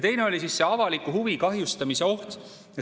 Teine oli see avaliku huvi kahjustamise oht.